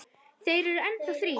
Þeir eru enn þá þrír.